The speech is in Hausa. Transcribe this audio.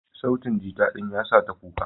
Sautin gita ɗin yasa ta kuka.